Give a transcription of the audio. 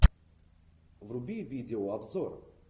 вруби видеообзор